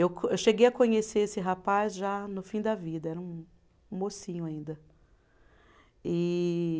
Eu co, eu cheguei a conhecer esse rapaz já no fim da vida, era um um mocinho ainda. E